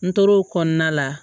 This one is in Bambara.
N tor'o kɔnɔna la